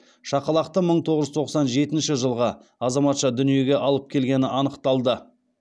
шақалақты мың тоғыз жүз тоқсан жетінші жылғы азаматша дүниеге алып келгені анықталды